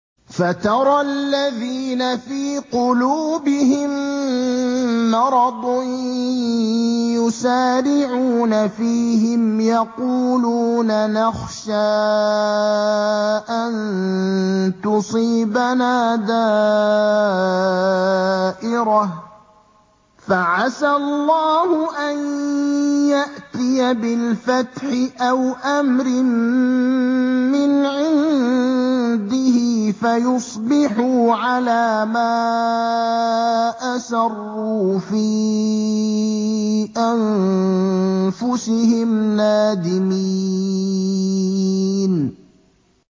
فَتَرَى الَّذِينَ فِي قُلُوبِهِم مَّرَضٌ يُسَارِعُونَ فِيهِمْ يَقُولُونَ نَخْشَىٰ أَن تُصِيبَنَا دَائِرَةٌ ۚ فَعَسَى اللَّهُ أَن يَأْتِيَ بِالْفَتْحِ أَوْ أَمْرٍ مِّنْ عِندِهِ فَيُصْبِحُوا عَلَىٰ مَا أَسَرُّوا فِي أَنفُسِهِمْ نَادِمِينَ